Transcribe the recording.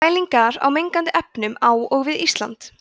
mælingar á mengandi efnum á og við ísland